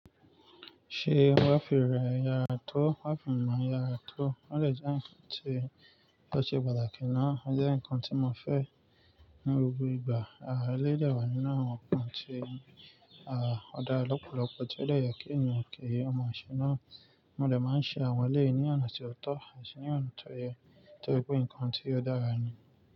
Ṣé wifi rẹ yara tó wifi mi ma yara tó? Ó de jẹ́ ǹkan tí ó ṣe pàtàkì ná. Ó jẹ́ ǹkan tí mo fẹ́ ní gbogbo ìgbà. À eleyi de wà nínú àwọn ǹkan tí a odára lọ́pọ̀lọpọ̀ tí ó de ye kí ènìyàn ki o mọ̀ṣẹ́ náà. Mo de máa ń ṣe àwọn eleyi ní ọ̀nà tí ó tọ́ àti ní ọ̀nà tó yẹ torí pé ńkan tí ó dára ni.